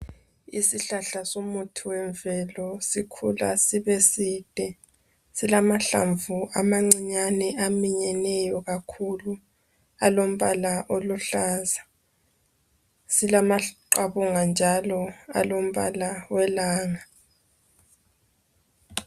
Isihlahla somuthi wemvelo sikhula sibeside. Silamahlamvu amancinyane aminyeneyo kakhulu. Alombala oluhlaza. Silamaqabunga njalo alombala welanga.